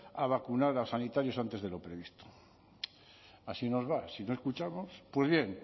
a vacunar a sanitarios antes de lo previsto así nos va si no escuchamos pues bien